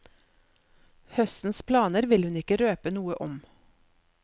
Høstens planer vil hun ikke røpe noe om.